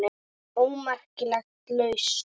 ómerkt lausn